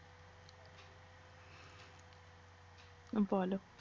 বল